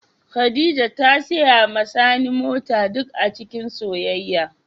Khadijah ta siya ma sani mota duk acikin soyayya.